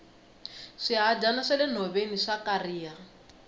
swihadyana swa le nhoveni swa kariha